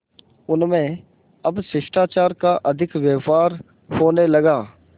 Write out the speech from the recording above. उनमें अब शिष्टाचार का अधिक व्यवहार होने लगा